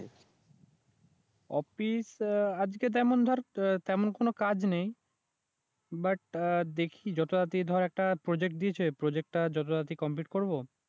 office আহ আজকে তেমন ধর তেমন কোন আহ কাজ নেই বাট আহ দেখি যত তাড়াতাড়ি ধর একটা প্রজেক্ট দিয়েছে প্রজেক্ট টা যত তাড়াতাড়ি কমপ্লিট করবো